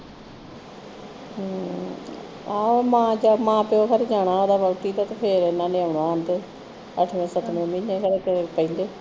ਹਮਮ ਆਹੋ ਮਾਂ ਪਿਉ ਘਰ ਜਾਣਾ ਫਿਰ ਇਹਨਾਂ ਨੇ ਆਉਣਾ ਅੱਠਵੇਂ ਸੱਤਵੇਂ ਮਹੀਨੇਂ ਖਰੇ ਕਿਹੜੇ ਪਹਿਲੇ